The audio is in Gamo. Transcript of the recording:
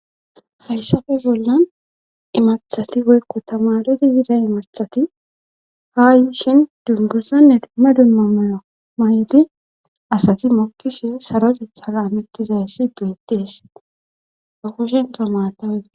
Hayssafe bollan imathati boykko tamalodi bida imathati haa yiishin dunguzanne dumma dumma mayo may'di asati mokkishin saroteth halametizayssi beettees ba koshento maata wogi